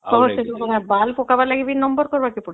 କଣ ସେଠି ବାଳ ପକବାର ଲାଗି ବି ନମ୍ବର କରିବାକୁ ପଡୁଛି